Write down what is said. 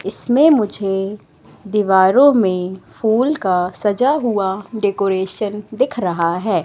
इसमें मुझे दीवारों में फूल का सजा हुआ डेकोरेशन दिख रहा है।